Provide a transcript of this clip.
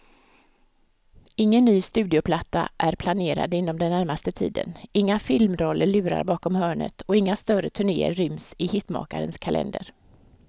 Ingen ny studioplatta är planerad inom den närmaste tiden, inga filmroller lurar bakom hörnet och inga större turnéer ryms i hitmakarens kalender.